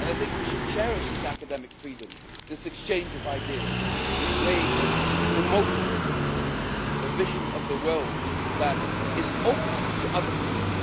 We should cherish this academic freedom, this exchange of ideas, and this way of promoting a vision of the world that is open to other views.